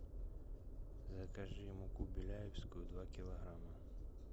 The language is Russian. закажи муку беляевскую два килограмма